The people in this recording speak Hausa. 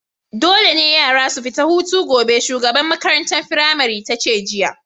Dole ne yara su fita hutu gobe! shugaban maƙarantan firamarin tace jiya.